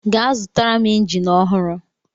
Gaa zụtara m injin ọhụrụ!